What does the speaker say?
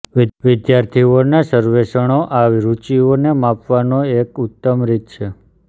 વિદ્યાર્થીઓના સર્વેક્ષણો આ રુચિઓને માપવાનો એક ઉત્તમ રીત છે